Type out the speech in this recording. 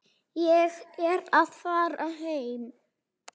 Ég er að fara heim.